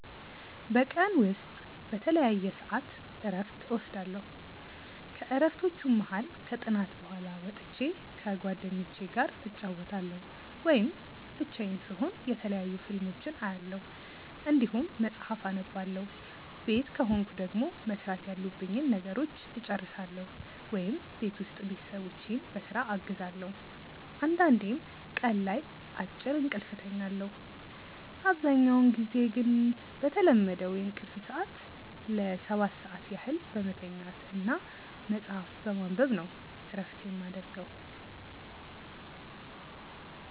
በቀን ውስጥ በተለያየ ሰዐት እረፍት እወስዳለሁ። ከእረፍቶቹም መሀል ከጥናት በኋላ ወጥቼ ከጓደኞቹ ጋር እጫወታለሁ ወይም ብቻዬን ስሆን የተለያዩ ፊልሞችን አያለሁ እንዲሁም መጽሐፍ አነባለሁ ቤት ከሆንኩ ደግሞ መስራት ያሉብኝን ነገሮች እጨርሳለሁ ወይም ቤት ውስጥ ቤተሰቦቼን በስራ አግዛለሁ አንዳንዴም ቀን ላይ አጭር እንቅልፍ እተኛለሁ። አብዛኛውን ጊዜ ግን በተለመደው የእንቅልፍ ሰዐት ለ7 ሰዓት ያህል በመተኛት እና መጽሀፍ በማንበብ ነው እረፍት የማረገው።